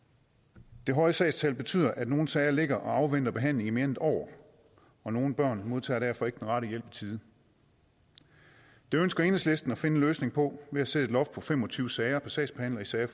det høje sagstal betyder at nogle sager ligger og afventer behandling i mere end et år og nogle børn modtager derfor ikke den rette hjælp i tide det ønsker enhedslisten at finde en løsning på ved at sætte et loft på fem og tyve sager per sagsbehandler i sager